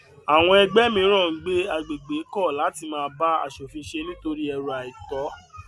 àwọn ẹgbẹ mìíràn ń gbé agbègbè kọ láti máa bá aṣòfin ṣe nítorí ẹrù àìtọ